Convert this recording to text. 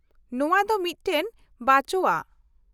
ᱱᱚᱶᱟ ᱫᱚ ᱢᱤᱫᱴᱟᱝ ᱵᱟᱸᱪᱳᱣᱟ ᱾